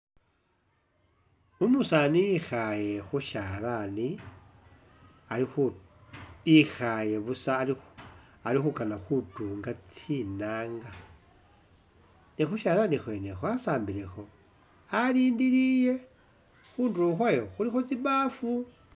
Umusaani ekhaale khushalani ali khu, ikhaale busa ali khu ali khukana khutunga tsinanga ne khushalani khwene asambilekho alindilile khundulo khwayo khulikho tsibaafu